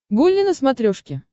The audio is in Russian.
гулли на смотрешке